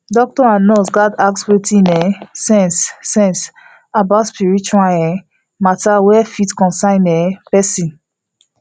doctor and nurse gatz ask with um sense sense about spiritual um matter wey fit concern the um person